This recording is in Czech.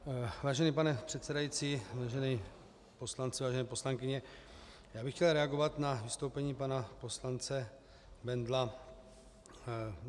Vážený pane předsedající, vážení poslanci, vážené poslankyně, já bych chtěl reagovat na vystoupení pana poslance Bendla.